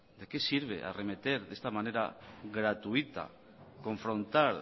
de qué sirve arremeter de esta manera gratuita confrontar